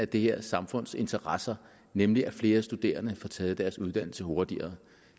det her samfunds interesser nemlig at flere studerende får taget deres uddannelse hurtigere